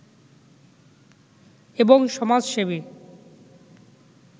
এবং সমাজসেবী